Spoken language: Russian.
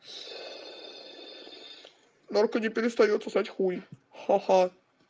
мартуни перестаёт сосать хуй ха-ха